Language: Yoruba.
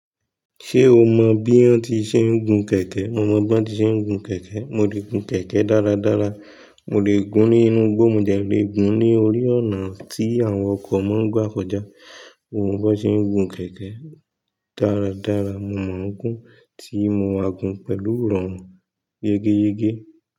Ṣé o mọ bí wọ́n ti ṣe ń gun kẹ̀kẹ́? Mo mọ bí wọ́n ti ṣe ń gun kẹ̀kẹ́. Mo lè gun kẹ̀kẹ́ dáradára. Mo lè gún ní inú igbó, mo lè gún ní orí ọ̀nà tí àwọn ọkọ̀ máa ń gbà kọjá. Mo mọ bọ ṣe ń gun kẹ̀kẹ́ dáradára. Mo mọ gún tí mo máa gun pẹ̀lú iròrun yégé yégé.